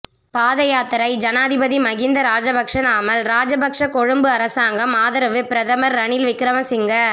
பாதயாத்தரை ஜனாதிபதி மஹிந்த ராஜபக்ஷ நாமல் ராஜபக்ஷ கொழும்பு அரசாங்கம் ஆதரவு பிரதமர் ரணில் விக்கிரமசிங்க